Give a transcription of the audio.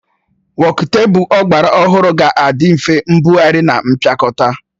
Wokutebụl ọgbara ọhụrụ ga-adị nfe mbugharị na mpịakọta